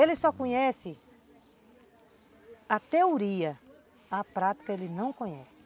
Ele só conhece a teoria, a prática ele não conhece.